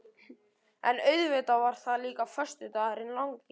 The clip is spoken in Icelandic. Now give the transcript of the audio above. En auðvitað var það líka föstudagurinn langi.